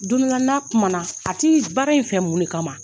Don dɔ la, n na kumana a t'i baara in fɛ mun de kama?